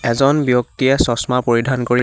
এজন ব্যক্তিয়ে চচমা পৰিধান কৰি--